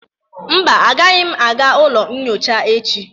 Mba, agaghịm aga ụlọ nyocha echi.